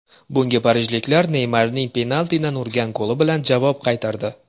Bunga parijliklar Neymarning penaltidan urgan goli bilan javob qaytardi.